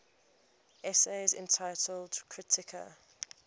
essays entitled kritika